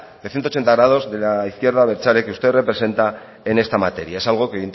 de ciento ochenta grados de la izquierda abertzale que usted representa en esta materia es algo que